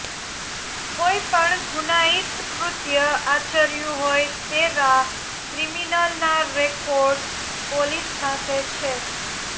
કોઇ પણ ગુનાઇત કૃત્ય આચર્યું હોય તેવા ક્રિમિનલના રેકોર્ડ પોલીસ પાસે છે